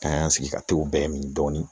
An y'an sigi ka t'o bɛɛ ɲini dɔɔnin